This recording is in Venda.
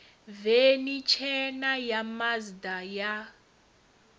veni tshena ya mazda ya